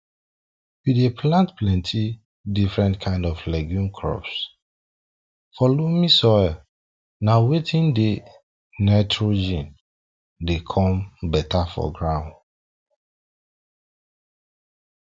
we dey plant penti different kind of legume crops for loamy soil na watin dey nitrogen dey come beta for ground